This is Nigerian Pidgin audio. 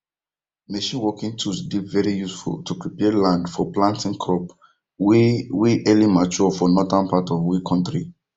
machine working tools dey very useful to prepare land for planting crop wey wey early mature for northern part of we kontri